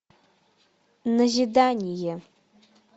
назидание